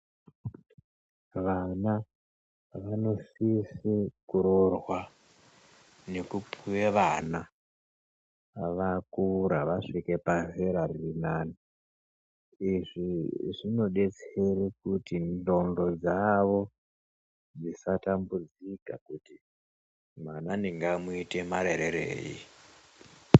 Vana vanosise kuroorwa nekupuwe vana vakura vasvike pazera ririnane izvi zvinodetsera kuti ndxondo dzawo dzisatambudzika kuti mwana ndingamuite marerereyi.